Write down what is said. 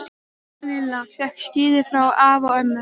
Lilla fékk skíði frá afa og ömmu.